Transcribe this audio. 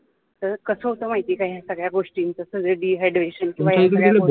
कस होतं का माहिती का या सगळ्या गोष्टीच सगळं dehydration किंवा